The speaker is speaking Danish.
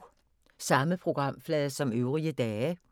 Samme programflade som øvrige dage